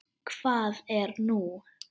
Hvað er nú?